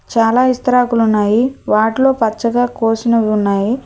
చాలా ఇస్తరాకులున్నాయి వాటిలో పచ్చగా కోసినవి ఉన్నాయి.